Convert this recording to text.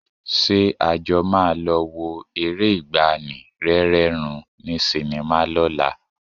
Ṣé a jọ máa lọ wo eré ìgbàanì, Rẹ́rẹ́ Rún ní sinimá lọ́la?